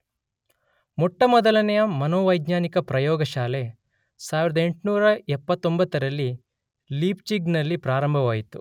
ಮೊಟ್ಟಮೊದಲನೆಯ ಮನೋವೈಜ್ಞಾನಿಕ ಪ್ರಯೋಗಶಾಲೆ 1879ರಲ್ಲಿ ಲೀಪ್ಜಿಗ್ನಲ್ಲಿ ಪ್ರಾರಂಭವಾಯಿತು.